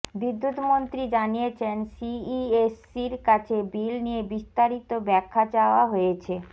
বিদ্যুতমন্ত্রী জানিয়েছেন সিইএসসির কাছে বিল নিয়ে বিস্তারিত ব্যাখ্যা চাওয়া হয়েছে